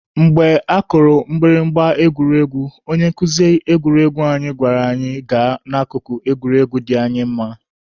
Mgbe akụrụ mgbịrịgba egwuregwu, onye nkuzi egwuruegwu anyị gwara anyị gaa n'akụkụ egwuregwu dị anyị mma.